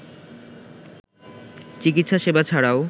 চিকিৎসা সেবা ছাড়াও